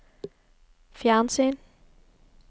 fjernsyn